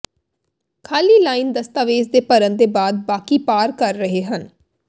ਖਾਲੀ ਲਾਈਨ ਦਸਤਾਵੇਜ਼ ਦੇ ਭਰਨ ਦੇ ਬਾਅਦ ਬਾਕੀ ਪਾਰ ਕਰ ਰਹੇ ਹਨ